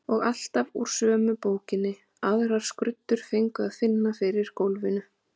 Og alltaf úr sömu bókinni, aðrar skruddur fengu að finna fyrir gólfinu.